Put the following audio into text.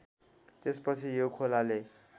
त्यसपछि यो खोलाले